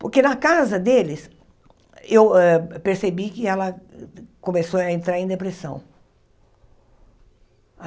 Porque na casa deles, eu hã percebi que ela começou a entrar em depressão.